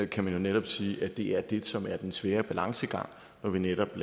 kan man jo netop sige at det er det som er den svære balancegang når vi netop